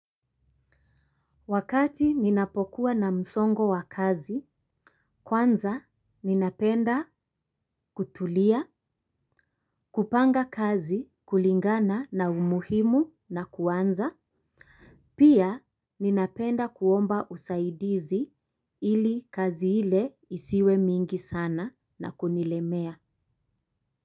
Wakati ninapokuwa na msongo wa kazi, kwanza ninapenda kutulia, kupanga kazi kulingana na umuhimu na kuanza. Pia ninapenda kuomba usaidizi ili kazi ile isiwe mingi sana na kunilemea.